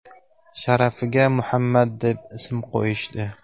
sharafiga Muhammad deb ism qo‘yishdi.